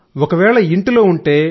ఒకవేళ ఇంట్లో ఉంటే